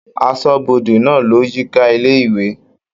Aṣọ́bodè náà lọ yíká ilé-ìwé.